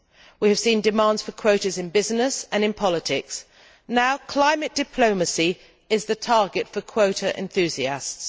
We have seen demands for quotas in business and in politics, and now climate diplomacy is the target for quota enthusiasts.